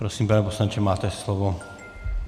Prosím, pane poslanče, máte slovo.